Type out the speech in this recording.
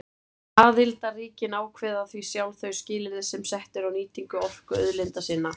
Aðildarríkin ákveða því sjálf þau skilyrði sem sett eru á nýtingu orkuauðlinda sinna.